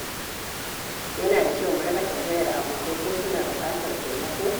Yana da kyau mu riƙa tambayar abokai ko suna buƙatar taimako.